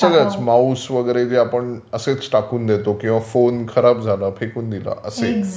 सगळंच माउस वगैरे जे आपण असेच टाकून देतो किंवा फोन खराब झाला, फेकून दिला, असे